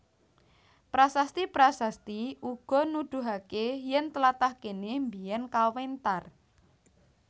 Prasasti prasasti uga nudhuhake yen tlatah kene mbiyen kawentar